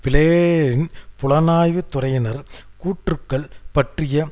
பிளேயரின் புலனாய்வு துறையினரின் கூற்றுக்கள் பற்றிய